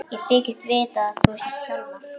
Ég þykist vita að þú sért Hjálmar.